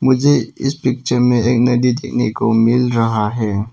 मुझे इस पिक्चर में एक नदी देखने को मिल रहा है।